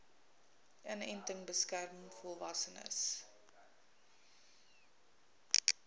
inenting beskerm volwassenes